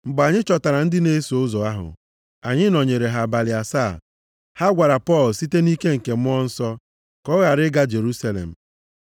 Mgbe anyị chọtara ndị na-eso ụzọ ahụ, anyị nọnyere ha abalị asaa. Ha gwara Pọl site nʼike nke Mmụọ Nsọ, ka ọ ghara ịga Jerusalem.